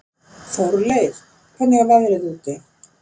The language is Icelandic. Þórleif, hvernig er veðrið úti?